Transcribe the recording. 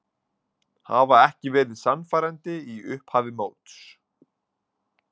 Hafa ekki verið sannfærandi í upphafi móts.